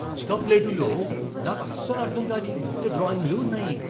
Nazca ప్లేటూలో నాకు అస్సలు అర్థం కాని వింత డ్రాయింగులు ఉన్నాయి!